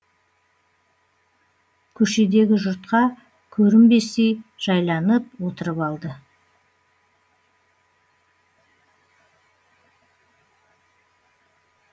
көшедегі жұртқа көрінбестей жайланып отырып алды